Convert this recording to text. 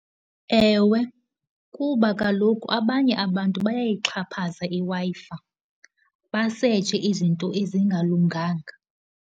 Ewe, kuba kaloku abanye abantu bayayixhaphaza iWi-Fi, basetshe izinto ezingalunganga.